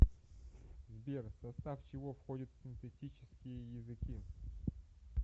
сбер в состав чего входит синтетические языки